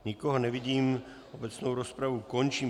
Nikoho nevidím, obecnou rozpravu končím.